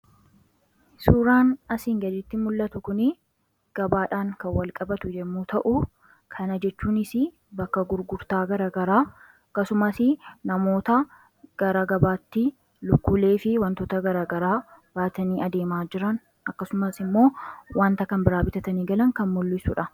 Suuraan asiin gaditti mul'atu kun gabaadhaan kan wal qabatu yommuu ta'u, kunis bakka gurgurtaa garaa garaa, akkasumas namoota garaa gabaa kanatti, lukkuulee fi wantoota garaa garaa baaatani adeema jiran agarra. Akkasumas, waanta kan biraa bitatanii kan galan kan mul'isudha.